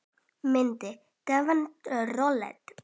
Mynd: Edwin Roald.